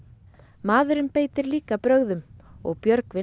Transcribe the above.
maðurinn beitir líka brögðum og Björgvin